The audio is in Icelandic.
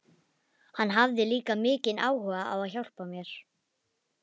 Hann hafði líka mikinn áhuga á að hjálpa mér.